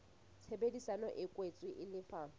tshebedisano e kwetsweng e lefa